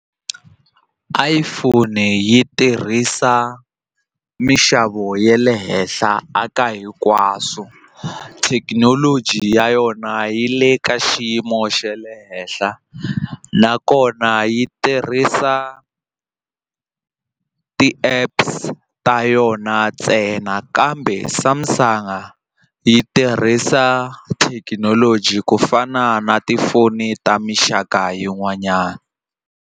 iPhone yi tirhisa mixavo ya le henhla aka hinkwaswo thekinoloji ya yona yi le ka xiyimo xa le henhla nakona yi tirhisa ti-apps ta yona ntsena kambe Samsung a yi tirhisa thekinoloji ku fana na tifoni ta mixaka yin'wanyana.